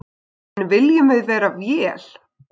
En viljum við vera vél?